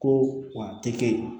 Ko wa a tɛ kɛ